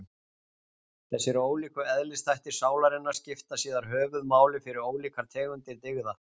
Þessir ólíku eðlisþættir sálarinnar skipta síðar höfuðmáli fyrir ólíkar tegundir dygða.